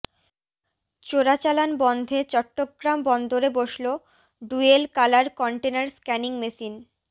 চোরাচালান বন্ধে চট্টগ্রাম বন্দরে বসল dual colour container scanning machine